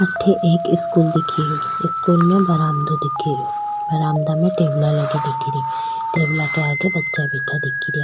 अठे एक स्कूल दिखे रो स्कूल में एक बरामदो दिखे रो बरामदा मा टेबला लगी दिखे री टेबला के आगे बच्चा बैठा दिखे रिया।